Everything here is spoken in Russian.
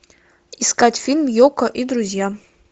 искать фильм йоко и друзья